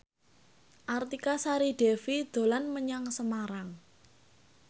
Artika Sari Devi dolan menyang Semarang